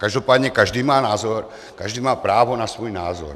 Každopádně každý má názor, každý má právo na svůj názor.